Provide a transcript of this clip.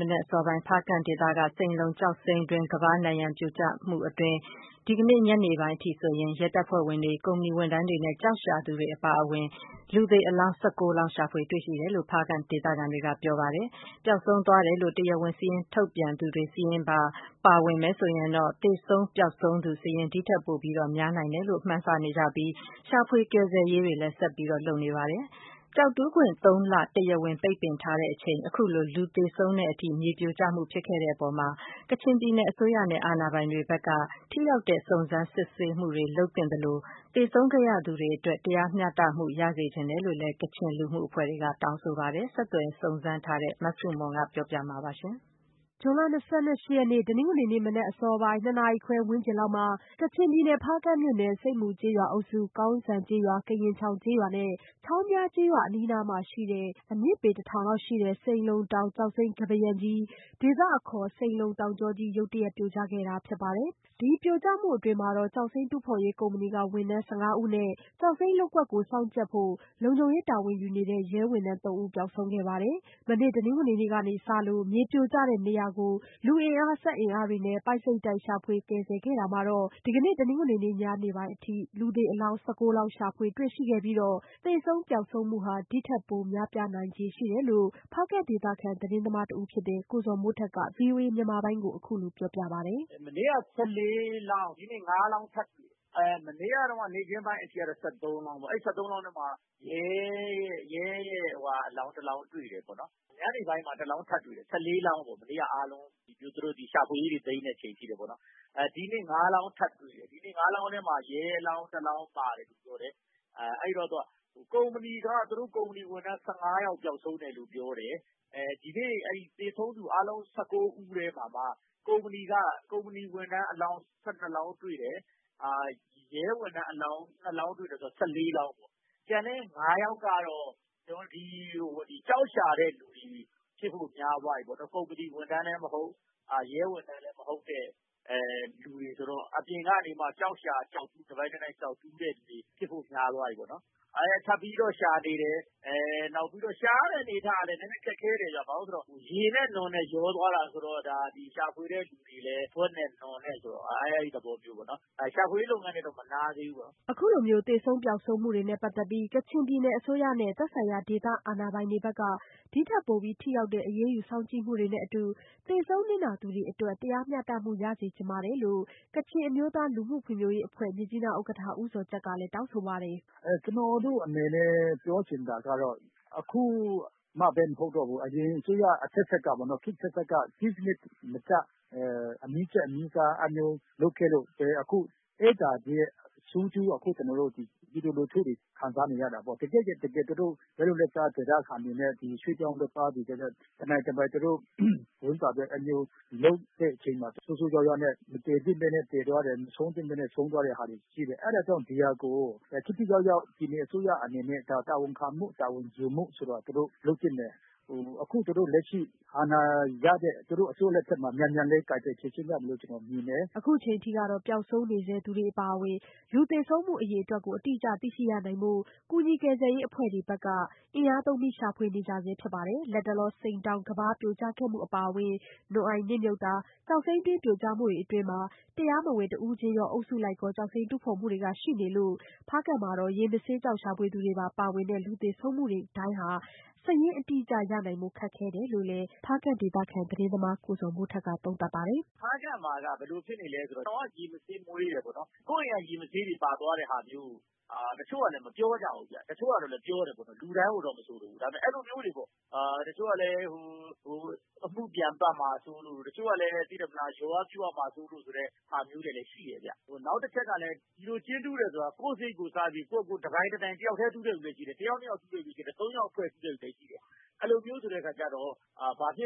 မနက်အစောပိုင်း ဖားကန့်ဒေသက စိန်လုံကျောက်စိမ်းတွင်းကမ်းပါးရံကြီး ပြိုကျမှုအတွင်း ဒီကနေ့ညနေပိုင်းအထိ ရဲတပ်ဖွဲ့ဝင်တွေ၊ ကုမ္ပဏီဝန်ထမ်းတွေ နဲ့ ကျောက်ရှာသူတွေပါ အပါအဝင် လူသေအလောင်း ၁၉လောင်း ရှာဖွေတွေ့ရှိတယ်လို့ ဖားကန့်ဒေသခံတွေက ပြောပါတယ်။ ပျောက်ဆုံးသွားတယ်လို့ တရားဝင်စာရင်းထုတ်ပြန်သူတွေစာရင်းပါ ပါဝင်မယ်ဆိုရင်တော့ သေဆုံး ပျောက်ဆုံးသူ ဒီ့ထက်ပို အရေအတွက်များနိုင်တယ်လို့လည်း မှန်းဆနေကြပြီး ရှာဖွေ ကယ်ဆယ်ရေးတွေ ဆက်လုပ်နေဆဲဖြစ်ပါတယ်။ ကျောက်တူးခွင့် သုံးလ တရားဝင် ပိတ်ပင်ထားချိန် အခုလို လူသေဆုံးတဲ့အထိ မြေပြိုကျမှုဖြစ်ခဲ့တဲ့အပေါ် ကချင်ပြည်နယ်အစိုးရနဲ့ အာဏာပိုင်တွေ ဘက်က ထိရောက်တဲ့ စုံစမ်းစစ်ဆေးမှု လုပ်သင့်သလို သေဆုံးခဲ့ရသူတွေ အတွက် တရားမျှတမှု ရစေချင်ပါတယ်လို့လည်း ကချင်လူမှုအဖွဲ့တွေက တောင်းဆိုပါတယ်။ ဆက်သွယ်စုံစမ်းထားတဲ့ မဆုမွန် ဆက်ပြောပြပါမယ်။ ဇွန်လ ၂၈ရက်နေ့ တနင်္ဂနွေ မနက် အစောပိုင်း ၂ နာရီခွဲ ဝန်းကျင်လောက်မှာ ကချင်ပြည်နယ် ဖားကန့်မြို့နယ် ဆိပ်မူကျေးရွာအုပ်စု ကောင်စံကျေးရွာ ၊ ကရင်ချောင်ကျေးရွာ ၊ချောင်းဖျားကျေးရွာ အနီးနားမှာရှိတဲ့ အမြင့်ပေ တထောင်ခန့်ရှိတဲ့ စိန်လုံတောင် ကျောက်စိမ်းကမ်းပါးယံကြီး ဒေသအခေါ် စိန်လုံ တောင်ကြောကြီး ရုတ်တရက် ပြိုကျခဲ့တာဖြစ်ပါတယ်။ ဒီပြိုကျမှုအတွင်း ကျောက်စိမ်း တူးဖော်ရေး ကုမ္ပဏီဝန်ထမ်းတွေ ၁၅ဦး နဲ့ ကျောက်စိမ်း လုပ်ကွက်ကို စောင့်ကြပ်ဖို့လုံခြုံရေး တာဝန်ယူနေတဲ့ ရဲဝန်ထမ်း ၃ဦး ပျောက်ဆုံးခဲ့ပါတယ်။ မနေ့ တနင်္ဂနွေကနေ စလို့ မြေပြိုကျတဲ့နေရာကို လူအင်အားစက်အင်အားတွေနဲ့ ပိုက်စိပ်တိုက် ရှာဖွေကယ်ဆယ်ခဲ့တာမှာတော့ ဒီကနေ့ တနင်္ဂနွေ ညနေပိုင်းအထိကတော့ လူသေအလောင်း လောင်းကို ရှာဖွေတွေ့ရှိခဲ့ပြီး သေဆုံးပျောက်ဆုံးမှုဟာ ဒီ့ထက်ပိုများပြားနိုင်ခြေ ရှိတယ်လို့ ဖားကန့်ဒေသခံ သတင်းသမားတဦးဖြစ်တဲ့ ကိုဇော်မိုးထက်က ဗွီအိုအေမြန်မာပိုင်းကို အခုလို ပြောပြပါတယ်။ “မနေ့က ၁၄ လောင်း ဒီကနေ့ ၅ လောင်း ထပ်တွေ့တယ်။ မနေ့က နေ့ခင်းပိုင်းအထိကတော့ ၁၃ လောင်းပေါ့။ အဲဒီ ၁၃ လောင်းထဲမှာ ရဲအလောင်း တလောင်းတွေ့တယ်။ ညနေပိုင်းမှာ တလောင်းထပ်တွေ့တယ်။ မနေ့က ၁၄ လောင်းပေါ့ အားလုံး သူတို့တွေ ရှာဖွေရေးတွေ သိမ်းတဲ့အချိန်အထိ ။ ဒီနေ့ ၅ လောင်းထပ်တွေ့တယ်။ ဒီ ၅ လောင်းထဲမှာ ရဲအလောင်း ၁ လောင်းပါတယ်လို့ ပြောတယ်။ ကုမ္ပဏီက သူတို့ ဝန်ထမ်း ၁၅ ယောက်ပျောက်ဆုံးတယ်လို့ ပြောတယ်။ ဒီနေ့ အဲဒီ သေဆုံးသူအားလုံး ၁၉ ဦးထဲမှာမှ ကုမ္ပဏီ ဝန်ထမ်းအလောင်း ၁၂ လောင်းတွေ့တယ်။ ရဲဝန်ထမ်းအလောင်း ၂ လောင်းတွေ့တယ်ဆိုတော့ ၁၄ လောင်းပေါ့ ကျန်တဲ့ ၅ ယောက်ကတော့ ကျောက်ရှာတဲ့သူတွေ ဖြစ်ဖို့များသွားပြီပေါ့နော် ကုမ္ပဏီဝန်ထမ်းလည်းမဟုတ်၊ ရဲဝန်ထမ်းလည်း မဟုတ်တဲ့ လူတွေဆိုတော့ အပြင်ကနေမှ ကျောက်ရှာကျောက်တူးတဲ့လူတွေ ဖြစ်ဖို့များသွားပြီပေါ့နော်။ ထပ်ပြီးတော့ ရှာနေတယ် နောက်ပြီးတော့ ရှာရတဲ့အနေအထားကလည်း နည်းနည်းခက်ခဲတယ်ခင်ဗျ။ ဘာဖြစ်လို့လဲဆိုတော့ ရေနဲ့ နွံနဲ့ ရောသွားတာဆိုတော့ ဒီရှာတဲ့လူတွေ လည်း ဗွက်နဲ့ နွံ နဲ့ပေါ့နော်။ ရှာဖွေရေးလုပ်ငန်းတွေကတော့ မနားသေးဘူး။” အခုလိုသေဆုံးပျောက်ဆုံးမှုတွေနဲ့ပတ်သက်ပြီး ကချင်ပြည်နယ်အစိုးရနဲ့ သက်ဆိုင်ရာဒေသအာဏာပိုင်တွေဘက်က ဒီ့ထက်ပိုပြီး ထိရောက်တဲ့ အရေးယူစောင့်ကြည့်မှုတွေနဲ့အတူ သေဆုံးနစ်နာသူတွေအတွက် တရားမျှတမှု ရစေချင်ပါတယ်လို့ ကချင်အမျိုးသားလူမှုဖွံ့ဖြိုးရေးအဖွဲ့ မြစ်ကြီးနားဥက္ကဋ္ဌ ဦးဇော်ဂျတ်က တောင်းဆိုပါတယ်။ “ကျနော်တို့အနေနဲ့ ပြောချင်တာကတော့ အခုမှပဲမဟုတ်ဘူး အရင်အစိုးရ အဆက်ဆက်ကပေါ့နော် စည်းစနစ်တကျ မလုပ်ခဲ့လို့ အဲဒါတွေရဲ့ ဆိုးကျိုး ကျနော်တို့ အခု ပြည်သူလူထုတွေ ခံစားနေရတာပေါ့။ တကယ့်တကယ် လက်လုပ်လက်စား ဒေသခံတွေနဲ့ ရွှေ့ပြောင်းအလုပ်သမားတွေ တနိုင်တပိုင် သူတို့ ဝမ်းစာအတွက် လုပ်တဲ့အချိန်မှာ ဆိုးဆိုးဝါးဝါးနဲ့ မသေသင့်ပဲ သေသွားတယ်။ မဆုံးသင့်ပဲနဲ့ ဆုံးသွားတာတွေ ရှိတယ် အဲဒါကြောင့် ဒါကို အစိုးရအနေနဲ့ ထိထိရောက်ရောက် တာဝန်ခံမှု တာဝန်ယူမှု သူတို့လုပ်သင့်တယ်။ အခုလက်ရှိ အာဏာရတဲ့ သူတို့အစိုးရ လက်ထက်မှာ မြန်မြန်လေး ကိုင်တွယ်ဖြေရှင်းသင့်တယ်လို့ ကျနော်မြင်ပါတယ်။” အခုအချိန်အထိ ပျောက်ဆုံးနေဆဲသူတွေအပါအဝင် လူသေဆုံးမှု အရေအတွက် အတိအကျ ကို သိရှိရနိုင်ဖို့ ကူညီကယ်ဆယ်ရေး အဖွဲ့တွေဘက်က လူအင်အား စက်အင်အားသုံးရှာဖွေနေကြဆဲဖြစ်ပါတယ်။ လတ်တလော စိန်တောင်ကမ်းပါးပြိုကျခဲ့မှု အပါအဝင် နွံ့အိုင်နစ်မြုပ်မှု ကျောက်စိမ်းတွင်းပြိုကျမှုတွေအတွင်း တရားမဝင် တဦးချင်း၊ အုပ်စုလိုက် ကျောက်စိမ်းတူးဖော်မှုတွေလည်း ရှိနေလို့ ဖားကန့်မှာ ရေမဆေးကျောက် ရှာဖွေသူတွေပါဝင်တဲ့ လူသေဆုံးမှုတွေဟာ စာရင်းအတိအကျရနိုင်ဖို့ ခက်ခဲတယ်လို့လည်း ဖားကန့်ဒေသခံ သတင်းသမားကိုဇော်မိုးထက်က သုံးသပ်ပါတယ်။ “ ဖားကန့်မှာက ဘယ်လိုဖြစ်နေသလဲဆိုတော့ ကိုယ့်အိမ်က ရေမဆေးတွေ ပါသွားတာကို တချို့ကလည်း မပြောကြဘူး။ တချို့ကလည်း ပြောတယ်ပေါ့နော်။ လူတိုင်းကိုတော့ မဆိုလိုဘူး ဒါပေမယ့် အဲလိုမျိုးတွေ တချို့ကလည်း အမှုပြန်ပတ်မှာစိုးလို့ တချို့ကလည်း လျော်ရမှာဆိုးလို့ ဆိုတာမျိုးလည်း ရှိတယ် ခင်ဗျ။ နောက်တချက်ကတော့ ဒီလိုကျင်းတူးတယ်ဆိုတာ ကိုယ့်စရိတ်ကိုယ်စားပြီး တူးတဲ့လူလည်းရှိတယ် ၊ တယောက်နှစ်ယောက် တူးတဲ့လူလည်းရှိတယ်။ သုံးယောက်ဖွဲ့ပြီး တူးတာလည်းရှိတယ်။ အဲလိုမျိုးဆိုတော့ ဘာဖြစ်